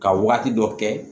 Ka waati dɔ kɛ